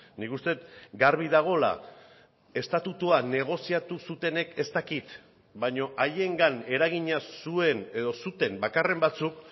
nik uste dut garbi dagoela estatutua negoziatu zutenek ez dakit baina haiengan eragina zuen edo zuten bakarren batzuk